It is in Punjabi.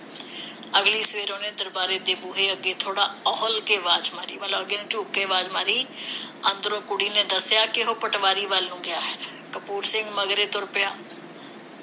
ਅਗਲੀ ਸਵੇਰ ਉਹਨੇ ਦਰਬਾਰੇ ਦੇ ਬੂਹੇ ਅੱਗੇ ਥੋੜ੍ਹਾ ਅਹੁਲ ਕੇ ਵਾਜ ਮਾਰੀ। ਮਤਲਬ ਅੱਗੇ ਨੂੰ ਝੁੱਕ ਕੇ ਆਵਾਜ਼ ਮਾਰੀ ਅੰਦਰੋਂ ਕੁੜੀ ਨੇ ਦੱਸਿਆ ਕਿ ਉਹ ਹੁਣ ਪਟਵਾਰੀ ਵਲ ਨੂੰ ਗਿਆ ਹੈ। ਕਪੂਰ ਸਿੰਘ ਮਗਰੇ ਤੁਰ ਪਿਆ।